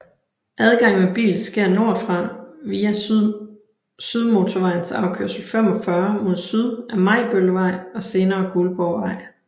Adgang med bil sker nordfra via Sydmotorvejens afkørsel 45 mod syd af Majbøllevej og senere Guldborgvej